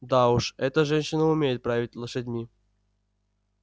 да уж эта женщина умеет править лошадьми